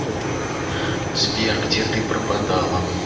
сбер где ты пропадала